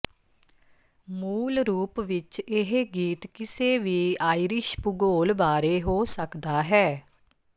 ਮੂਲ ਰੂਪ ਵਿਚ ਇਹ ਗੀਤ ਕਿਸੇ ਵੀ ਆਈਰਿਸ਼ ਭੂਗੋਲ ਬਾਰੇ ਹੋ ਸਕਦਾ ਹੈ